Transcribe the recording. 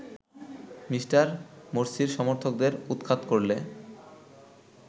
Me. মোরসির সমর্থকদের উৎখাত করলে